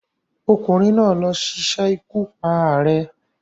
Ọkùnrin náà ló sisé ikú pa ààrẹ